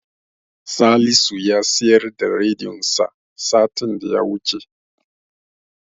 Salisu ya siyar da rediyonsa satin da ya wuce.